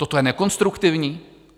Toto je nekonstruktivní?